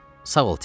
Sağ ol, Tinti.